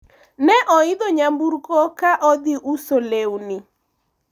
ne oidho nyemburko ka odhi uso lewni